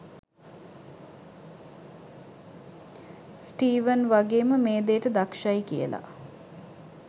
Steven වගේම මේ දේට දක්ෂයි කියලා.